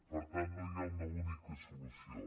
per tant no hi ha una única solució